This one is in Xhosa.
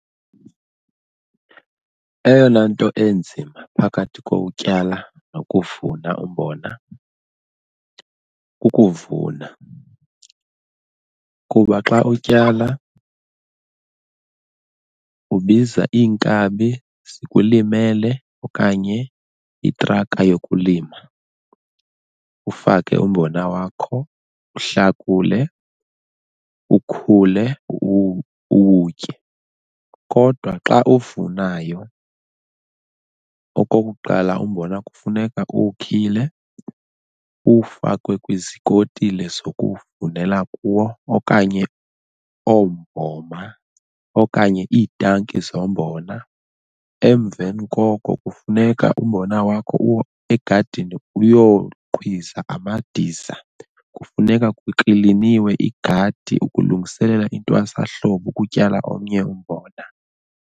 Eyona nto enzima phakathi kokutyala nokuvuna umbona kukuvuna, kuba xa utyala ubiza iinkabi zikulimele okanye itraka yokulima ufake umbona wakho uhlakule ukhule uwutye kodwa xa uvunayo. Okokuqala, umbona kufuneka uwukhile uwufakwe kwizikotile zokuvunela kuwo okanye ombhoma okanye iitanki zombona. Emveni koko kufuneka umbona wakho uwo egadini uyoqhwiza amadiza, kufuneka kukliniwe igadi ukulungiselela intwasahlobo ukutyala omnye umbona.